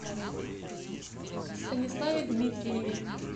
станиславе дмитриеве